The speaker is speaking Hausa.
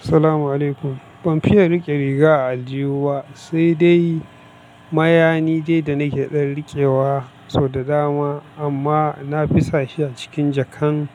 Assalamualaikum. Ban fiya rike riga a aljihu ba sai dai mayani dai da nake dan rike wa sau da dama amma na fi sa shi a cikin jakan